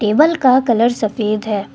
बल का कलर सफेद है।